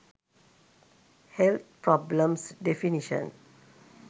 health problems definition